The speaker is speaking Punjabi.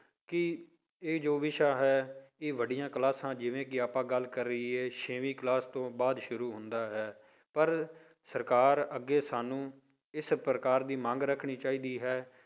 ਕਿ ਇਹ ਜੋ ਵਿਸ਼ਾ ਹੈ ਇਹ ਵੱਡੀਆਂ classes ਜਿਵੇਂ ਕਿ ਆਪਾਂ ਗੱਲ ਕਰੀਏ ਛੇਵੀਂ class ਤੋਂ ਬਾਅਦ ਸ਼ੁਰੂ ਹੁੰਦਾ ਹੈ ਪਰ ਸਰਕਾਰ ਅੱਗੇ ਸਾਨੂੰ ਇਸ ਪ੍ਰਕਾਰ ਦੀ ਮੰਗ ਰੱਖਣੀ ਚਾਹੀਦੀ ਹੈ